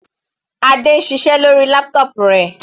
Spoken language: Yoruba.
Adé ń ṣiṣẹ́ lórí laptop rẹ̀.